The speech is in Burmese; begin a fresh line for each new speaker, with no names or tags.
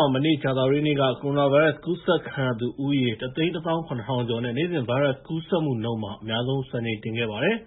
ှာ မနေ့ကြာသပတေးနေ့က ကိုရိုနာဗိုင်းရပ်စ်ကူးစက်ခံရသူဦးရေ ၁၁၇,၀၀၀ ကျော်နဲ့ နေ့စဉ်ဗိုင်းရပ်စ်ကူးစက်မှုနှုန်း အများဆုံး စံချိန်တင်ခဲ့ပါတယ်။